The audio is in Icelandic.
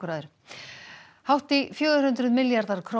að öðru hátt í fjögur hundruð milljarðar króna